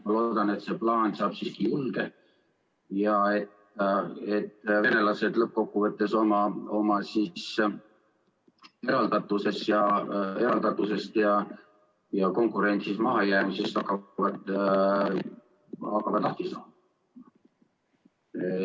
Ma loodan, et see plaan saab julge ja et venelased lõppkokkuvõttes hakkavad oma eraldatusest ja konkurentsis mahajäämisest lahti saama.